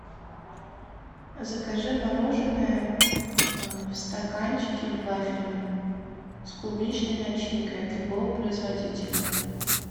закажи мороженое в стаканчике вафельном с клубничной начинкой от любого производителя